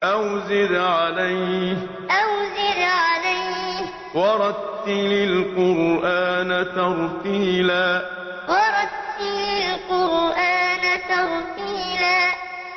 أَوْ زِدْ عَلَيْهِ وَرَتِّلِ الْقُرْآنَ تَرْتِيلًا أَوْ زِدْ عَلَيْهِ وَرَتِّلِ الْقُرْآنَ تَرْتِيلًا